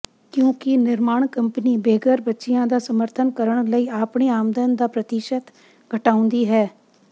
ਕਿਉਂਕਿ ਨਿਰਮਾਣ ਕੰਪਨੀ ਬੇਘਰ ਬੱਚਿਆਂ ਦਾ ਸਮਰਥਨ ਕਰਨ ਲਈ ਆਪਣੀ ਆਮਦਨ ਦਾ ਪ੍ਰਤੀਸ਼ਤ ਘਟਾਉਂਦੀ ਹੈ